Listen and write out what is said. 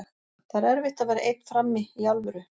Það er erfitt að vera einn frammi, í alvöru.